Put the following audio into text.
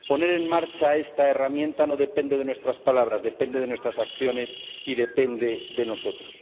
Poner en marcha esta herramienta no depende de nuestras palabras, depende de nuestras acciones y depende de nosotros.